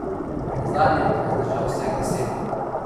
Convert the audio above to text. Nazadnje pa je zdržal vseh deset!